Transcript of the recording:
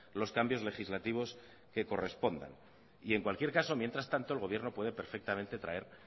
los cambios legislativos que correspondan y en cualquier caso mientras tanto el gobierno puede perfectamente traer